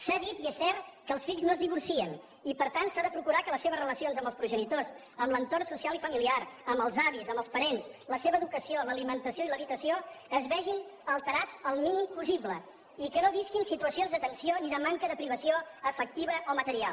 s’ha dit i és cert que els fills no es divorcien i per tant s’ha de procurar que les seves relacions amb els progenitors amb l’entorn social i familiar amb els avis amb els parents la seva educació l’alimentació i l’habitació es vegin alterats el mínim possible i que no visquin situacions de tensió ni de manca de privació afectiva o material